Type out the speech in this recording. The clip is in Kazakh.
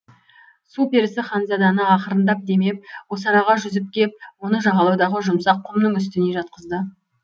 су перісі ханзаданы ақырындап демеп осы араға жүзіп кеп оны жағалаудағы жұмсақ құмның үстіне жатқызды